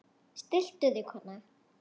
Stilltu þig kona!